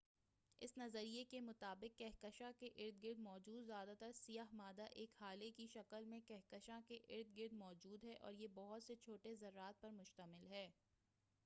اس نظریے کے مطابق کہکشاں کے اردگرد موجود زیادہ تر سیاہ مادہ ایک ہالے کی شکل میں کہکشاں کے اردگرد موجود ہے اور یہ بہت سے چھوٹے ذرات پر مشتمل ہے